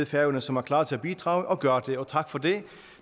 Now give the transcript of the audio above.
færøerne som er klar til at bidrage og gør det og tak for det